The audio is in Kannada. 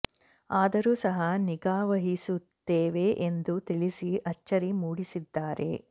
ಆದರೂ ಸಹ ನಿಗಾ ವಹಿಸುತ್ತೇವೆ ಎಂದು ತಿಳಿಸಿ ಅಚ್ಚರಿ ಮೂಡಿಸಿದ್ದಾರೆ